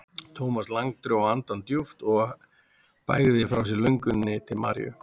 Thomas Lang dró andann djúpt og bægði frá sér lönguninni til Maríu.